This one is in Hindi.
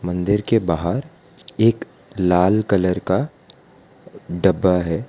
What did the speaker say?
मन्दिर के बाहर एक लाल कलर का डब्बा है।